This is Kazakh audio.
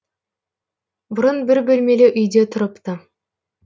бұрын бір бөлмелі үйде тұрыпты